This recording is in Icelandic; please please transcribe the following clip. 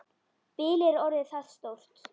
Bilið er orðið það stórt.